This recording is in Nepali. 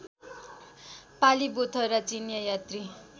पालिबोथरा चिनियाँ यात्री